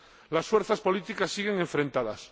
Las fuerzas políticas siguen enfrentadas.